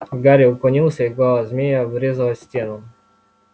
гарри уклонился и голова змея врезалась в стену